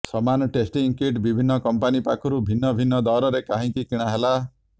ସମାନ testing kit ବିିଭିନ୍ନ company ପାଖରୁ ଭିନ୍ନ ଭିନ୍ନ ଦରରେ କାହିଁକି କିଣା ହେଲା